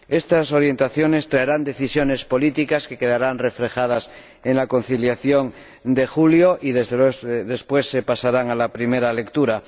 Estas orientaciones traerán decisiones políticas que quedarán reflejadas en la conciliación de julio, y después pasarán a la primera lectura.